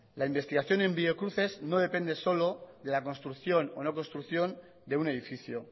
la investigación en biocruces no depende solo de la construcción o no construcción de un edificio